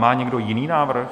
Má někdo jiný návrh?